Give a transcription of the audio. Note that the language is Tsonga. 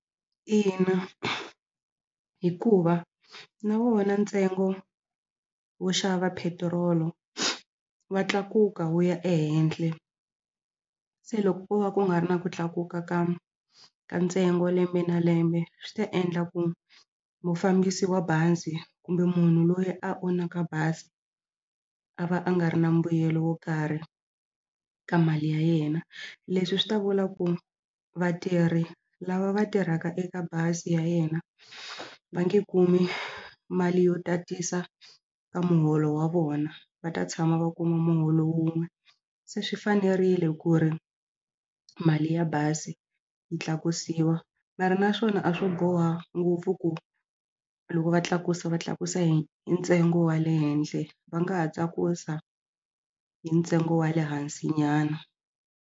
Ina, hikuva na wona ntsengo wo xava petiroli wa tlakuka wu ya ehenhle se loko ko va ku nga ri na ku tlakuka ka ka ntsengo lembe na lembe swi ta endla ku mufambisi wa bazi kumbe munhu loyi a onaka bazi a va a nga ri na mbuyelo wo karhi ka mali ya yena leswi swi ta vula ku vatirhi lava va tirhaka eka bazi ya yena va nge kumi mali yo tatisa ka muholo wa vona va ta tshama va kuma muholo wun'we se swi fanerile ku ri mali ya bazi yi tlakusiwa mara naswona a swo boha ngopfu ku loko va tlakusa va tlakusa hi hi ntsengo wa le henhla va nga ha tsakusa hi ntsengo wa le hansi nyana.